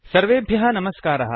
सर्वेभ्यः नमस्कारः